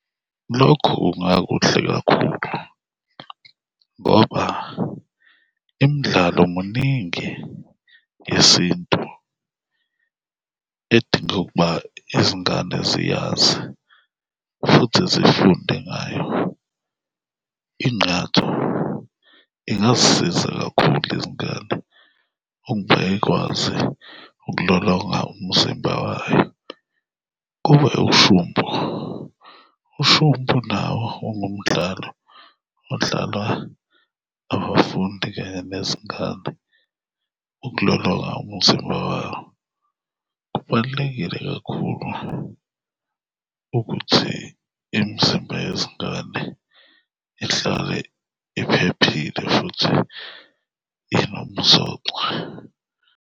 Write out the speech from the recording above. Lokho kungakuhle kakhulu ngoba imidlalo muningi yesintu edinga ukuba izingane ziyazi futhi zifunde ngayo. Ingqatho ingazisiza kakhulu izingane ukuba zikwazi ukulolonga umzimba wayo. Kube ushumpu, ushumpu nawo ungumdlalo odlalwa abafundi kanye nezingane ukulolonga umzimba wabo. Kubalulekile kakhulu ukuthi imizimba yezingane ihlale iphephile futhi inomsoco.